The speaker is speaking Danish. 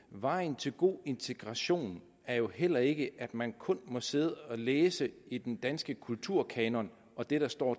vejen til god integration er jo heller ikke at man kun må sidde og læse i den danske kulturkanon og det der står